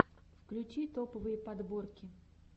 включи топовые подборки